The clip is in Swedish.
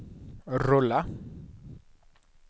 rulla